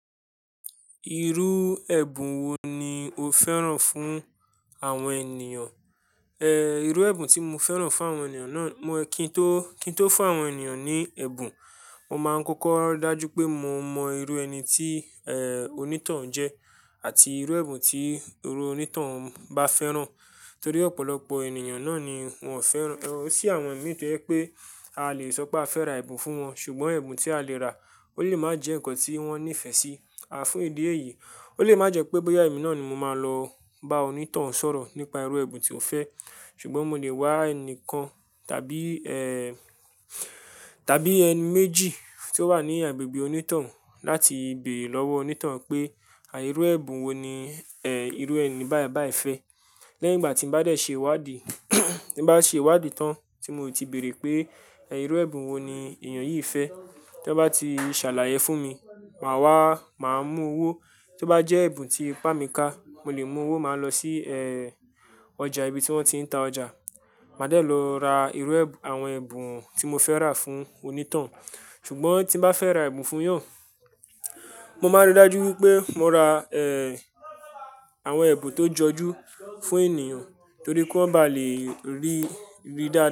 Irú ẹ̀bùn wo ni o fẹ́ràn fún àwọn ènìyàn? Irú ẹ̀bùn tí mo fẹ́ràn fún àwọn ènìyàn náà, mo kí n tó, kí n tó fún àwọn ènìyàn ní ẹ̀bùn, mo máa ń kọ́kọ́ rí dájú pé mo mọ irú ẹni tí èè onítọ̀hún jẹ́ àti irú ẹ̀bùn tí irú onítọ̀hún bá fẹ́ràn. Torí ọ̀pọ̀lọpọ̀ ènìyàn náà ni wọ́n fẹ́ràn, tí àwọn mi pé pé a lè sọ pé a fẹ́ ra ẹ̀bùn fún wọn, ṣùgbọ́n ẹ̀bùn tí a lè rà ó lè má jẹ nkan tí wọ́n nífẹ̀ẹ́ sí. A fún ìdí èyí, ó lè má jẹ pé bóyá èmi náà ni mo máa lọ bá onítọ̀hún sọ̀rọ̀ nípa irú ẹ̀bùn tí ó fẹ́. Ṣùgbọ́n mo lè wá ẹnìkan tàbí ee tàbí ẹni méjì tí ó wà ní agbègbè onítọ̀hún láti béèrè lọ́wọ́ onítọ̀hún pé irú ẹ̀bùn wo ni irú ẹni báì báì fẹ́. Lẹ́yìn ìgbà tí ń bá dé ṣe ìwádìí tí ń bá ṣe ìwádìí tán tí mo ti béèrè pé irú ẹ̀bùn wo ni ènìyàn yìí fẹ́. Tí wọ́n bá ti ṣàlàyé fún mi, màá wá, màá mú owó tí ó bá jẹ́ ẹ̀bùn tí ipá mi ká, mo lè mú owó máa lọ sí ọjà ibi tí wọ́n ti ń ta ọjà. Màá dẹ̀ lọ ra irú àwọn ẹ̀bùn tí mónfẹ́ rà fún onítọ̀hún. Ṣùgbọ́n tí n bá fẹ́ ra ẹ̀bùn fún èèyàn, mo má ń ríi dájú wípé mo ra àwọn ẹ̀bùn tó jọjú fún ènìyàn torí kí wọ́n bá lè rí rí.